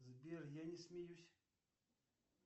сбер я не смеюсь